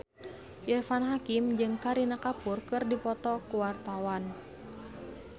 Irfan Hakim jeung Kareena Kapoor keur dipoto ku wartawan